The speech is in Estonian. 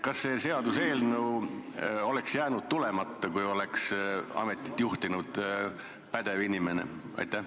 Kas see seaduseelnõu oleks jäänud tulemata, kui ametit oleks juhtinud pädev inimene?